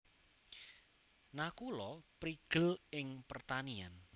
Nakula prigel ing pertanian